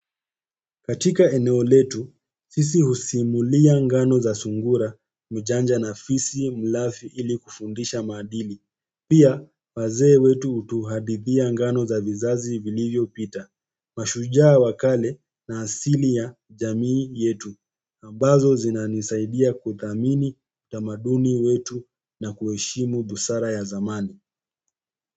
Katika eneo letu, sisi husimulia ngano za sungura mjanja na fisi mlafi ili kufundisha maadili pia, wazee wetu hutuhadithia ngano za vizazi vilivyopita, mashujaa wa kale na asili ya jamii yetu, ambazo zinanisaidia kuthamini utamaduni wetu na kuheshimu busara ya zamani.